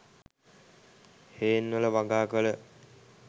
හේන්වල වගාකල